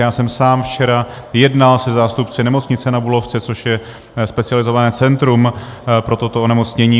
Já jsem sám včera jednal se zástupci Nemocnice na Bulovce, což je specializované centrum pro toto onemocnění.